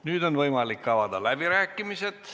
Nüüd on võimalik avada läbirääkimised.